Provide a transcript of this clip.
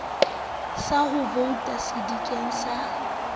sa ho vouta sedikeng sa